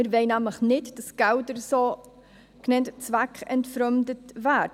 Wir wollen nämlich nicht, dass die Gelder zweckentfremdet werden.